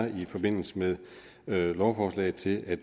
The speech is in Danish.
i forbindelse med lovforslaget til at